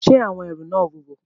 Ṣé àwọn ẹrù náà wúwo?